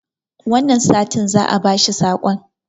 wannan satin za a bashi sakon